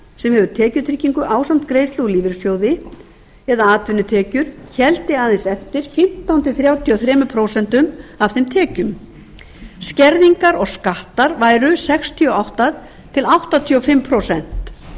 sem hefði tekjutryggingu ásamt greiðslu úr lífeyrissjóði eða atvinnutekjur héldi aðeins eftir fimmtán til þrjátíu og þrjú prósent af þeim tekjum skerðingar og skattar væru sextíu og átta til áttatíu og fimm prósent